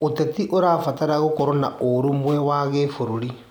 ũteti ũrabatara gũkorwo na ũrũmwe wa gĩbũrũri.